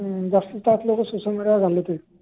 जास्त तास लोक सोशल मिडीयावर घालवतील